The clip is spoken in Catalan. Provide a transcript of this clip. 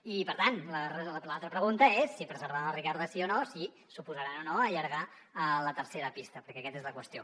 i per tant l’altra pregunta és si preservaran la ricarda sí o no si s’oposaran o no a allargar la tercera pista perquè aquesta és la qüestió